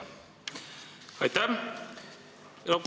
Aitäh!